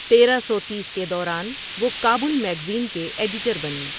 تیرہ سو تیس کے دوران ، وہ کابل میگزین کے ایڈیٹر بنے ۔